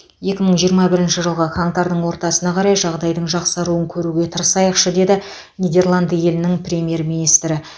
екі мың жиырма бірінші жылғы қаңтардың ортасына қарай жағдайдың жақсаруын көруге тырысайықшы деді нидерланды елінің премьер министрі